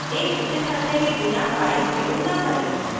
एक उचित हथ्थे के बिना फाइल प्रयोग न करें